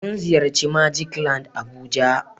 mun ziyarci " magic land"abuja.